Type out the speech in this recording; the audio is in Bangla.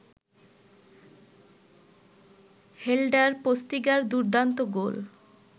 হেল্ডার পোস্তিগার দুর্দান্ত গোল